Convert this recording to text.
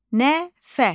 Nəfəs.